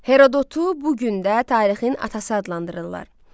Herodotu bu gün də tarixin atası adlandırırlar.